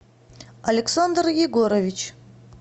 александр егорович